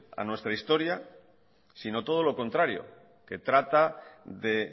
a nuestra historia sino todo lo contrario que trata de